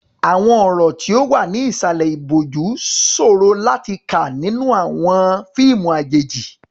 Àwọn ọ̀rọ̀ tí ó wà ní ìsàlẹ̀ ìbòjú ṣòro láti kà nínú àwọn fíìmù àjèjì.